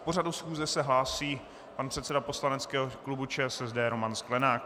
K pořadu schůze se hlásí pan předseda poslaneckého klubu ČSSD Roman Sklenák.